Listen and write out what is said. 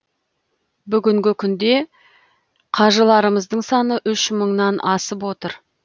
бүгінгі күнде қажыларымыздың саны үш мыңнан асып отыр